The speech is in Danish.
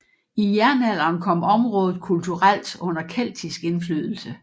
I jernalderen kom området kulturelt under keltisk indflydelse